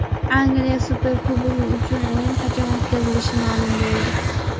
Angliya Superkubogi uchun o‘yin qachon o‘tkazilishi ma’lum bo‘ldi.